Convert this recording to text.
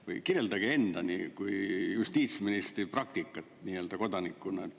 Või kirjeldage enda kui justiitsministri praktikat kodanikuna.